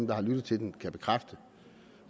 der har lyttet til den kan bekræfte